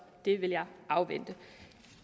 det vil jeg afvente